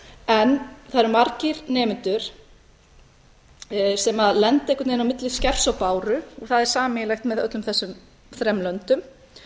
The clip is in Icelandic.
en það eru margir nemendur sem lenda einhvern veginn á milli hvers og báru og það er sameiginlegt með öllum þessum þremur löndum